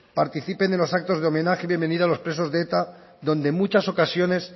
participen en los actos de homenaje y bienvenida a los presos de eta donde en muchas ocasiones